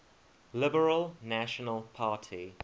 liberal national party